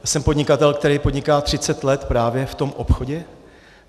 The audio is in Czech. Jsem podnikatel, který podniká třicet let právě v tom obchodě.